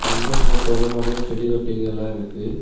இந்த ஃபோட்டோல நெறைய செடி தொடிகல்லா இருக்கு.